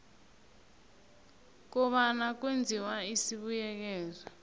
kobana kwenziwe isibuyekezo